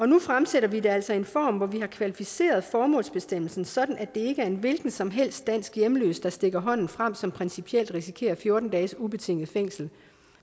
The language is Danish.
nu fremsætter vi det altså i en form hvor vi har kvalificeret formålsbestemmelsen sådan at det ikke er en hvilken som helst dansk hjemløs der stikker hånden frem som altså principielt risikerer fjorten dages ubetinget fængsel